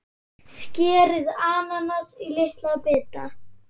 Skerið ananas í litla bita.